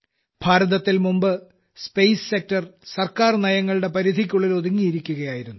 ഭാരതത്തിൽ മുമ്പ് space sector സർക്കാർ നയങ്ങളുടെ പരിധിക്കുള്ളിൽ ഒതുങ്ങിയിരിക്കുകയായിരുന്നു